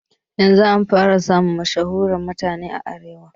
Yanzun an fara samun mashahuren mutane a arewa